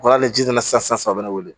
Ko ala ni ji nana sisan a bɛ ne wele